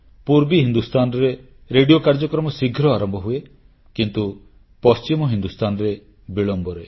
ପୂର୍ବ ହିନ୍ଦୁସ୍ତାନରେ ରେଡ଼ିଓ କାର୍ଯ୍ୟକ୍ରମ ଶୀଘ୍ର ଆରମ୍ଭ ହୁଏ କିନ୍ତୁ ପଶ୍ଚିମ ହିନ୍ଦୁସ୍ତାନରେ ବିଳମ୍ବରେ